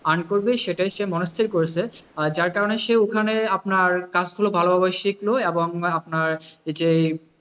Earn সেটাই সে মনস্থির করেছে, যার কারনে সে ওখানে আপনার কাজ গুলো ভালোভাবে শিখলো এবং আপনার ,